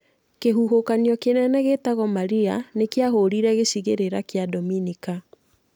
Kĩhuhũkanio kĩnene gĩtagwo Maria nĩ kĩahũrire gĩcigĩrĩra kĩa Dominica